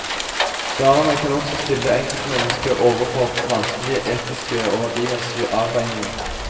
Svarene kan også stille enkeltmennesket overfor vanskelige etiske og verdimessige avveininger.